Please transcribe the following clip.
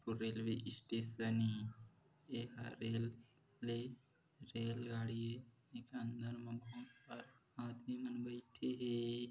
railway station ये ये ह रेलवे रेल गाड़ी ये एखर अंदर म बहुत सारा आदमी मन बइठे हे ए ए --